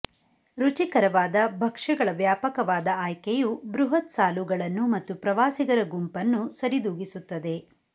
ರುಚಿಕರವಾದ ಭಕ್ಷ್ಯಗಳ ವ್ಯಾಪಕವಾದ ಆಯ್ಕೆಯು ಬೃಹತ್ ಸಾಲುಗಳನ್ನು ಮತ್ತು ಪ್ರವಾಸಿಗರ ಗುಂಪನ್ನು ಸರಿದೂಗಿಸುತ್ತದೆ